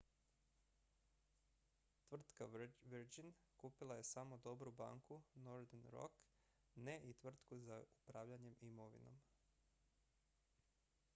"tvrtka virgin kupila je samo "dobru banku" northern rock ne i tvrtku za upravljanje imovinom.